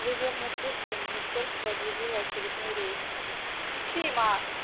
вы верно слышали министерство объявило очередной рейд